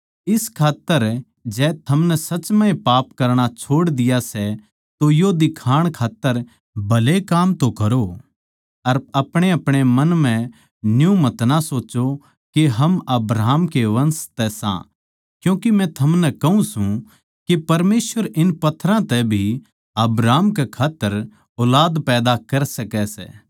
इस खात्तर जै थमनै सच म्ह पाप करणा छोड़ दिया सै तो यो दिखाण खात्तर भले काम तो करो अर अपणेअपणे मन म्ह न्यू मतना सोच्चो के हम अब्राहम के वंश तै सां क्यूँके मै थमनै कहूँ सूं के परमेसवर इन पत्थरां तै भी अब्राहम कै खात्तर ऊलाद पैदा कर सकै सै